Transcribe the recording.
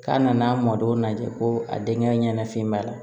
K'a nan'a mɔdɔw lajɛ ko a denkɛ ɲɛnafin b'a la